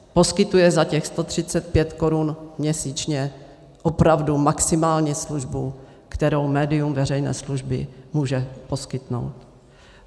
Poskytuje za těch 135 korun měsíčně opravdu maximální službu, kterou médium veřejné služby může poskytnout.